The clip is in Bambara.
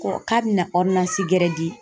Ko k'a bɛna gɛrɛ di